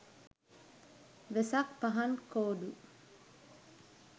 wesak pahan kodu